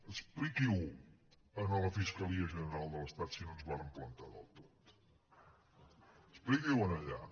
expliqui ho a la fiscalia general de l’estat si no ens vàrem plantar del tot expliqui ho allà